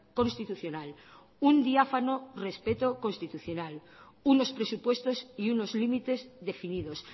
constitucional un diáfano respeto constitucional unos presupuestos y unos límites definidos